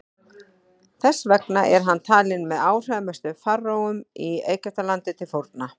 þess vegna er hann talinn með áhrifamestu faraóum í egyptalandi til forna